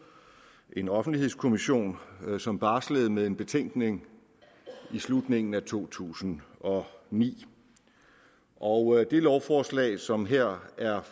en offentlighedskommission som barslede med en betænkning i slutningen af to tusind og ni og det lovforslag som her er